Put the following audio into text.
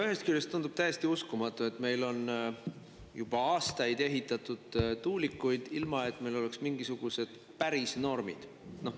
Ühest küljest tundub täiesti uskumatu, et meil on juba aastaid ehitatud tuulikuid, ilma et meil oleks mingisuguseid päris norme.